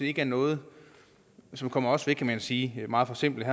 ikke er noget som kommer os ved kan man sige meget forsimplet